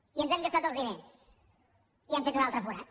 i ens hem gastat els diners i hem fet un altre forat